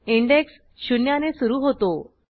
index शून्याने सुरू होतो